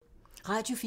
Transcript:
Radio 4